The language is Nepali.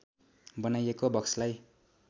बनाइएको बक्सलाई